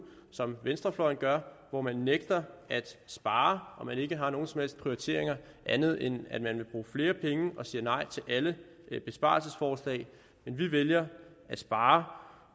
som venstrefløjen gør hvor man nægter at spare og ikke har nogen som helst prioriteringer andet end at man vil bruge flere penge og siger nej til alle besparelsesforslag men vi vælger at spare